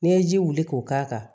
N'i ye ji wuli k'o k'a kan